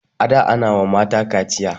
a da Ana wa mata kaciya